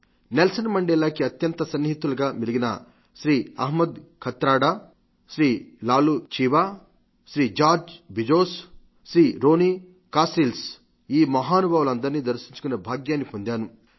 Nelson మండేలాకి అత్యంత సన్నిహితులుగా మెలిగిన Sri Ahmed Kathrada Sri Laloo Chiba Sri George Bizos Sri Ronnie Kasrils ఈ మహానుభావులందరినీ దర్శించుకునే భాగ్యాన్ని పొందాను